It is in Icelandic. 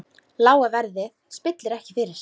Lága verðið spillir ekki fyrir.